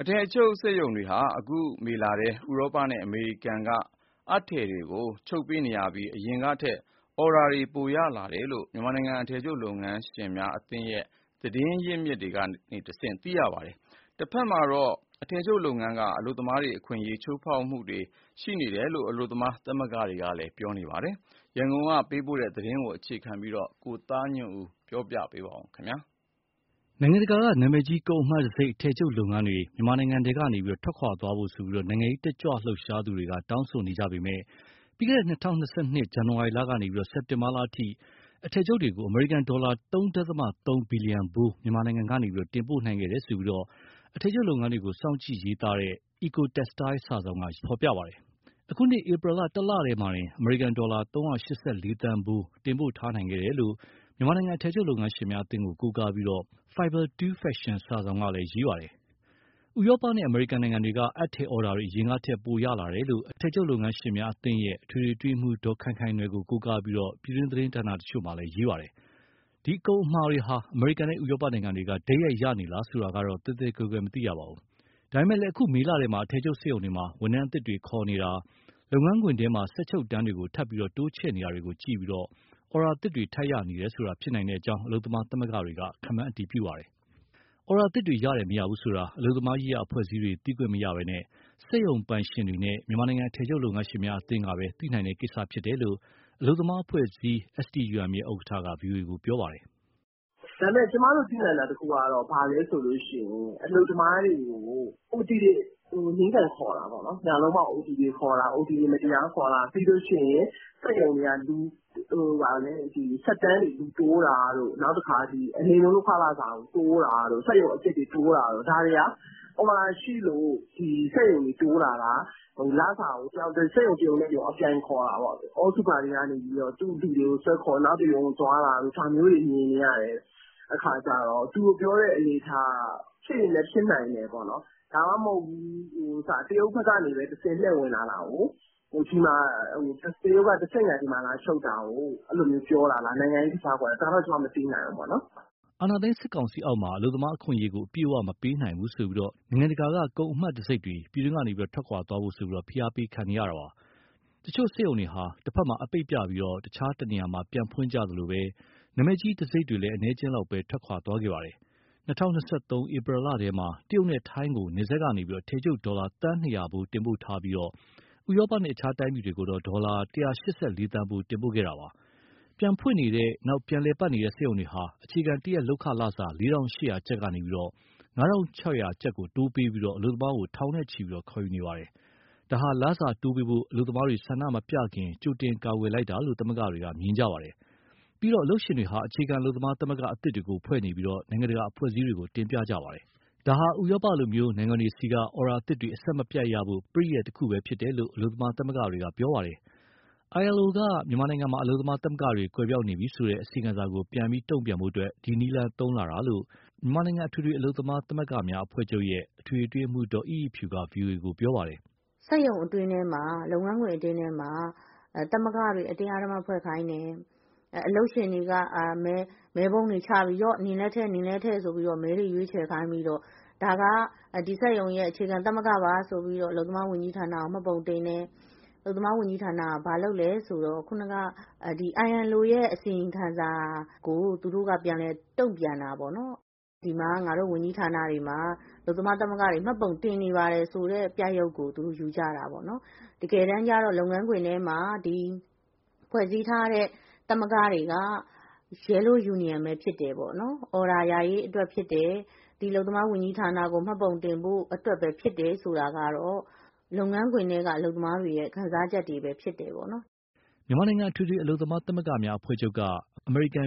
အထည်ချုပ်စက်ရုံတွေဟာ အခုမေလထဲ ဥရောပနဲ့အမေရိကန်ကအပ်ထည်တွေကို ချုပ်ပေးနေရပြီး၊ အရင်ကထက် အော်ဒါပိုရလာတယ်လို့ မြန်မာနိုင်ငံအထည်ချုပ်လုပ်ငန်းရှင်များအသင်းရဲ့ သတင်း အရင်းအမြစ်တွေကတဆင့်သိရပါတယ်။ တဖက်မှာတော့ အထည်ချုပ်လုပ်ငန်းက အလုပ်သမားတွေ အခွင့်အရေးချိုးဖောက်ခံရမှုတွေရှိနေတယ်လို့ အလုပ်သမားသမဂ္ဂတွေက ပြောပါတယ်။ ရန်ကုန်က ပေးပို့တဲ့ သတင်း ကိုသားညွန့်ဦး ပြောပြမှာပါ။ နိုင်ငံတကာက နာမည်ကြီး ကုန်အမှတ်တံဆိပ် အထည်ချုပ်လုပ်ငန်းတွေ မြန်မာနိုင်ငံထဲကထွက်သွားဖို့ နိုင်ငံရေးတတ်ကြွလှုပ်ရှားသူတွေ တောင်းဆိုနေပေမဲ့ ပြီးခဲ့တဲ့၂၀၂၂ ဇန်နဝါရီကနေ စက်တင်ဘာအထိ အထည်ချုပ်တွေကို အမေရိကန်ဒေါ်လာ ၃.၃ ဘီလီယံဖိုး မြန်မာနိုင်ငံက တင်ပို့နိုင်ခဲ့တယ်လို့ အထည်ချုပ်လုပ်ငန်းကို စောင့်ကြည့်ရေးသားနေတဲ့ Ecotextile စာစောင်က ရေးသားပါတယ်။ အခုနှစ်ဧပြီလ တလတည်းမှာတင် အမေရိကန်ဒေါ်လာ ၃၈၄သန်းဖိုး တင်ပို့ထားနိုင်ခဲ့တယ်လို့ မြန်မာနိုင်ငံ အထည်ချုပ် လုပ်ငန်းရှင်များအသင်းကို ကိုးကားပြီး Fiber 2 Fashion စာစောင်ကလည်း ရေးပါတယ်။ ဥရောပနဲ့ အမေရိကန်နိုင်ငံတွေက အပ်ထည်အော်ဒါတွေ အရင်ကထက် ပိုရလာတယ်လို့ အထည်ချုပ် လုပ်ငန်းရှင်များအသင်းရဲ့ အထွေထွေအတွင်းရေးမှူး ဒေါ်ခိုင်ခိုင်နွယ်ကို ကိုးကားပြီး ပြည်တွင်းသတင်းဌာန တချို့က ရေးကြပါတယ်။ ဒီကုန်အမှာတွေဟာ အမေရိကန်နဲ့ ဥရောပနိုင်ငံတွေကနေ တိုက်ရိုက်ရရှိနေလား ဆိုတာကိုတော့ သဲသဲကွဲကွဲမသိရပါဘူး။ ဒါပေမဲ့ အခုမေလထဲမှာ အထည်ချုပ်စက်ရုံတွေမှာ ဝန်ထမ်းအသစ် တွေ ခေါ်နေတာ၊ လုပ်ငန်းခွင်ထဲမှာ စက်ချုပ်တန်းတွေကို ထပ်ပြီး တိုးချဲ့နေတာကို ကြည့်ပြီး အော်ဒါသစ်တွေ ထပ်ရနေတယ်ဆိုတာ ဖြစ်နိုင်ကြောင်း အလုပ်သမား သမဂ္ဂတွေက ခန့်မှန်းပါတယ်။ အော်ဒါသစ်တွေ ရတယ်၊ မရဘူးဆိုတာ အလုပ်သမားရေးရာ အဖွဲ့အစည်းတွေက သိခွင့်မရဘဲ စက်ရုံပိုင်ရှင်တွေနဲ့ မြန်မာနိုင်ငံ အထည်ချုပ်လုပ်ငန်းရှင်များ အသင်း MGMA ကပဲ သိနိုင်တဲ့ကိစ္စဖြစ်ကြောင်း အလုပ်သမားအဖွဲ့အစည်း STUM ရဲ့ ဥက္ကဋ္ဌက ဗွီအိုအေကို ပြောပါတယ်။ " ဒါပေမဲ့ ကျမတို့ သိနိုင်တာတခုကတော့ အလုပ်သမားတွေကို OT တွေ နင်းကန်ခေါ်တာပေါ့နော်၊ ညလုံးပေါက် အိုတီတွေခေါ်တာ၊ ပြီးရင် စက်တန်းတွေလူတိုးတာ၊ နောက် အနိမ့်ဆုံး လုပ်ခလစာကို တိုးတာတို့၊ စက်ရုံအသစ်တွေ တိုးတာတို့၊ ဒါတွေဟာ အော်ဒါရှိလို့ ဒီစက်ရုံတွေ တိုးတာလား၊ စက်ရုံတရုံနဲ့တရုံ အပြိုင်ခေါ်တာပေါ့။ All super တွေကနေ သူ့လူတွေကိုဆွဲခေါ် နောက်တရုံကို သွားတာတို့ ဒါမျိုးတွေ မြင်နေရတဲ့အခါကြတော့ သူတို့ပြောတဲ့ အနေအထားက ဖြစ်ရင်လည်း ဖြစ်နိုင်တယ်ပေါ့။ ဒါမှမဟုတ် တရုတ်ဘက်ကတဆင့် လှည့်ဝင်လာတာကို၊ တရုတ်ကတဆင့်ခံ ဒီမှာလာချုပ်တာကို ပြောတာလား၊ နိုင်ငံရေးကစားကွက်၊ ဒါတော့ ကျမ မသိနိုင်ဘူး။" အာဏာသိမ်း စစ်ကောင်စီအောက်မှာ အလုပ်သမားအခွင့်အရေးကို အပြည့်အဝမပေးနိုင်ဘူးဆိုပြီး နိုင်ငံတကာ ကုန်အမှတ်တံဆိပ်တွေ ပြည်တွင်းကထွက်ခွာသွားဖို့ ဖိအားပေးခံနေရပါတယ်။ တချို့စက်ရုံတွေဟာ တဘက်မှာ အပိတ်ပြပြီး တခြားတနေရာမှာ ပြန်ဖွင့်ကြသလို နာမည်ကြီး တံဆိပ်တွေလည်း အနည်းအကျဉ်းလောက်သာ ထွက်သွားခဲ့တာပါ။ ၂၀၂၃ ဧပြီလထဲမှာ တရုတ်နဲ့ ထိုင်းကို နယ်စပ်ကနေ အထည်ချုပ် ဒေါ်လာသန်း ၂၀၀ ဖိုးတင်ပို့ထားပြီး၊ ဥရောပနဲ့ တခြားတိုင်းပြည်တွေကို ဒေါ်လာ ၁၈၄သန်းဖိုး တင်ပို့ခဲ့တာပါ။ ပြန်ဖွင့်နေတဲ့၊ ပြန်လည်ပတ်နေတဲ့ စက်ရုံတွေဟာ အခြေခံတရက်လုပ်ခလစာ ၄,၈၀၀ကျပ်ကနေ ၅,၆၀၀ ကိုတိုးပေးပြီး အလုပ်သမားထောင်နဲ့ချီ ခေါ်ယူနေပါတယ်။ ဒါဟာ လစာတိုးပေးဖို့ အလုပ်သမားတွေ ဆန္ဒမပြလာခင် ကြိုတင်ကာကွယ်လိုက်တာလို့ သမဂ္ဂတွေက မြင်ကြပါတယ်။ ပြီးတော့ အလုပ်ရှင်တွေဟာ အခြေခံအလုပ်သမားသမဂ္ဂ အသစ်တွေ ဖွဲ့စည်းနေပြီး၊ နိုင်ငံတကာ အဖွဲ့အစည်းတွေကို တင်ပြကြပါတယ်။ ဒါဟာ ဥရောပလို နိုင်ငံတွေဆီက အော်ဒါအသစ်တွေ အဆက်မပြတ်ရဖို့ ပရိယာယ် တခုသာဖြစ်တယ်လို့ အလုပ်သမားသမဂ္ဂတွေက ပြောပါတယ်။ ILO က မြန်မာနိုင်ငံမှာ အလုပ်သမား သမဂ္ဂတွေ ကွယ်ပျောက်နေပြီဆိုတဲ့ အစီရင်ခံစာကို ပြန်ပြီးတုံ့ပြန်ဖို့ ဒီလိုနည်းလမ်းတွေ သုံးလာတာလို့ မြန်မာနိုင်ငံ အထွေထွေအလုပ်သမား သမဂ္ဂများအဖွဲ့ချုပ်ရဲ့ အထွေထွေအတွင်းရေးမှူး ဒေါ်အိအိဖြူက ဗွီအိုအေကို ပြောပါတယ်။ " စက်ရုံအတွင်းထဲမှာ လုပ်ငန်းခွင် အတွင်းထဲမှာ သမဂ္ဂတွေ အတင်းအဓမ္မဖွဲ့ခိုင်းတယ်၊ အလုပ်ရှင်တွေက မဲပုံးတွေချပြီး နင်လည်းထည့်၊ နင်လည်းထည့်ဆိုပြီး မဲတွေရွေးချယ်ခိုင်းပြီး ဒါက ဒီစက်ရုံရဲ့ အခြေခံသမဂ္ဂပါဆိုပြီး အလုပ်သမားဝန်ကြီးဌာနကို မှတ်ပုံတင်တယ်။ အလုပ်သမား ဝန်ကြီးဌာနက ILOရဲ့ အစီရင်ခံစာကို သူတို့ကပြန်တုံ့ပြန်တာပေါ့နော်။ ဒီမှာ ငါတို့ ဝန်ကြီးဌာနတွေမှာ အလုပ်သမား သမဂ္ဂတွေ မှတ်ပုံတင်နေပါတယ် ဆိုတဲ့ ပြရုပ်ကို ယူကြတာပေါ့နော်။ တကယ်တမ်းကြ လုပ်ငန်းခွင်ထဲ ဖွဲ့စည်းထားတဲ့ သမဂ္ဂတွေက Yellow Union ပဲဖြစ်တယ်၊ အော်ဒါရရေးအတွက် ဖြစ်တယ်၊ ဒီအလုပ်သမား ဝန်ကြီးဌာနကို မှတ်ပုံတင်ဖို့အတွက်ပဲ ဖြစ်တယ် ဆိုတာကတော့ အလုပ်သမားတွေရဲ့ ခံစားချက်တွေပဲ ဖြစ်တယ်ပေါ့။" မြန်မာနိုင်ငံ အထွေထွေအလုပ်သမား သမဂ္ဂများအဖွဲ့ချုပ်က အမေရိကန်